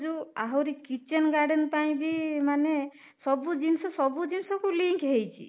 ଯୋଉ ଆହୁରି kitchen garden ପାଇଁ ବି ମାନେ ସବୁ ଜିନିଷ ସବୁ ଜିନିଷ କୁ ଲିଙ୍କ ହେଇଛି